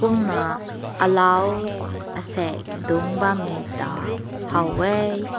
kumna aalao asek dunk bam me ta haw weh.